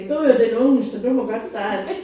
Du jo den unge så du må godt starte